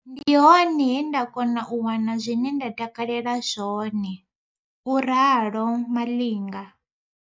Ndi hone he nda kona u wana zwine nda takalela zwone, u ralo Malinga.